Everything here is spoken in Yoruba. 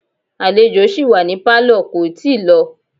Àlejò sì wà ní Pálọ̀ kò tíì lọ